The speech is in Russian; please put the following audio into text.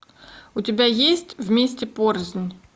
у тебя есть вместе порознь